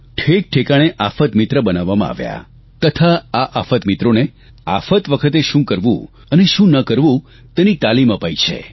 ઠેકઠેકાણે આફતમિત્ર બનાવાવમાં આવ્યા તથા આ આફતમિત્રોને આફત વખતે શું કરવું અને શું ના કરવું તેની તાલીમ અપાઇ છે